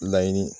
Laɲini